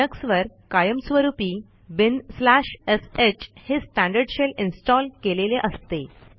लिनक्सवर कायम स्वरूपी binsh हे स्टँडर्ड शेल इन्स्टॉल केलेले असते